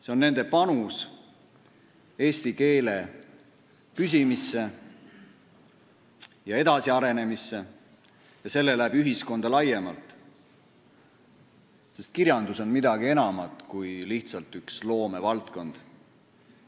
See on nende panus eesti keele püsimisse ja edasiarenemisse ning selle läbi ühiskonda laiemalt, sest kirjandus on midagi enamat kui lihtsalt üks loomevaldkond.